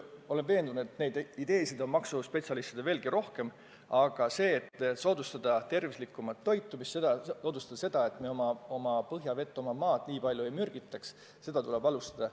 Olen veendunud, et maksuspetsialistidel on selliseid ideesid veelgi rohkem, aga seda, et soodustada tervislikumat toitumist, soodustada seda, et me oma põhjavett, oma maad nii palju ei mürgitaks, tuleb alustada.